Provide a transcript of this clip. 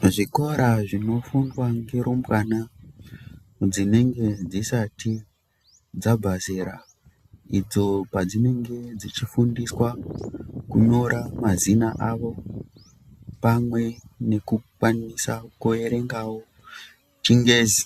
Muzvikora zvinofundwa ngerumbwana dzinenge dzisati dzabva zera idzo padzinenge dzichifundiswa kunyora mazino avo pamwe nekukwanisa kuerengawo chingezi